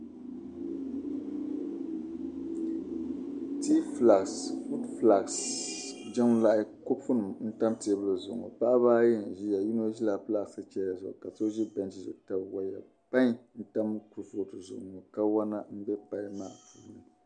Fod fulaks jiŋlahi kopu nima n tam teebuli zuɣu ŋɔ paɣba ayi n ʒiya yinɔ ʒila plastc chana zuɣu ka so ʒi bench titali ʒɛya. pain n-tam kuripɔtu zuɣu ŋɔ kawana n be pain maani.